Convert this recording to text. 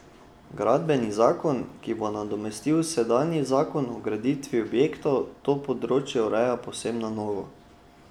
Gradbeni zakon, ki bo nadomestil sedanji zakon o graditvi objektov, to področje ureja povsem na novo.